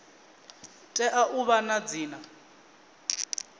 tea u vha na dzina